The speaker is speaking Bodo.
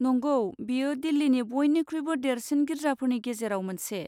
नंगौ, बेयो दिल्लीनि बयनिख्रुइबो देरसिन गिर्जाफोरनि गेजेरावबो मोनसे।